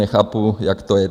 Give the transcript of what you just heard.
Nechápu, jak to je.